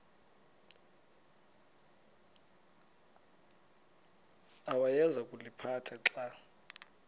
awayeza kuliphatha xa